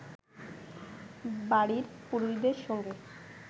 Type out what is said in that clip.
বাড়ির পুরুষদের সঙ্গে